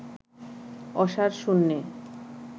অসাড় শূন্যে